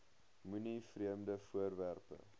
moenie vreemde voorwerpe